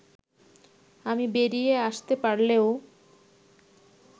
আমি বেরিয়ে আসতে পারলেও